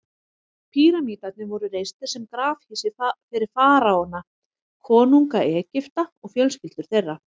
Píramídarnir voru reistir sem grafhýsi fyrir faraóana, konunga Egypta, og fjölskyldur þeirra.